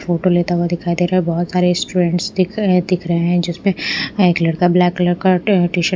photo लेता हुआ दिखाई दे रहा है बहुत सारे स्टूडेंट्स दिख अ दिख रहे हैं जिसपे एक लड़का ब्लैक कलर का ट टीशर्ट --